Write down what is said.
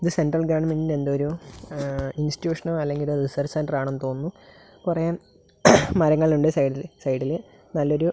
ഇത് സെൻട്രൽ ഗവണ്മെൻ്റിൻ്റെ എന്തോ ഒരു ആ ഇൻസ്റ്റിറ്റ്യൂഷനോ അല്ലെങ്കിൽ ഒരു റിസർച്ച് സെൻ്ററാണെന്നു തോന്നുന്നു കൊറെ മരങ്ങളുണ്ടു സൈഡില് സൈഡില് നല്ലൊരു--